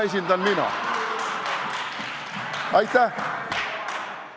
Aitäh!